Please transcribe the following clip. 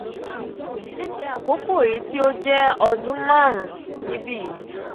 ileke akoko eyi ti o jẹ ọdun marun nibi yi